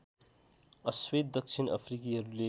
अश्वेत दक्षिण अफ्रिकीहरुले